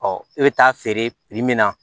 e bɛ taa feere min na